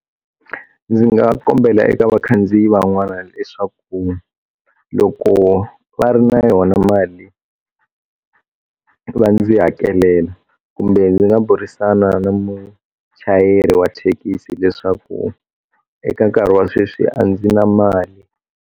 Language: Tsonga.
Ndzi nga kombela eka vakhandziyi van'wana leswaku loko va ri na yona mali va ndzi hakelela kumbe ndzi nga burisana na muchayeri wa thekisi leswaku eka nkarhi wa sweswi a ndzi na mali.